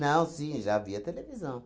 Não, sim, já havia televisão.